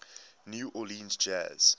new orleans jazz